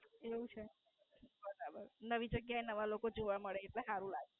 એવું છે? બરાબર. નવી જગ્યા એ નવા લોકો જોવા મળે એટલે હારું લાગે.